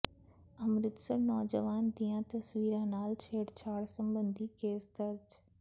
ਅੰਮ੍ਰਿਤਧਾਰੀ ਨੌਜਵਾਨ ਦੀਆਂ ਤਸਵੀਰਾਂ ਨਾਲ ਛੇਡ਼ਛਾਡ਼ ਸਬੰਧੀ ਕੇਸ ਦਰਜ